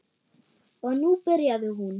Og nú byrjaði hún.